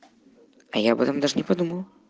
а я об этом даже не подумала